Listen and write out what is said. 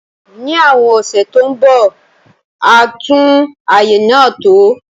Ní àwon ọ̀sẹ̀ to n bo, a tùn àyè náà tò